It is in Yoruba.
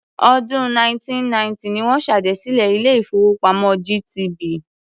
Ọdún 1990 ni wọ́n ṣèdásílẹl ilé-ìfowópamọ́ GTB.